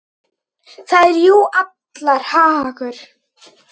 Það er jú allra hagur.